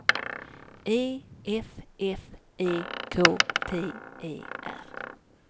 E F F E K T E R